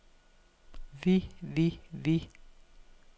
vi vi vi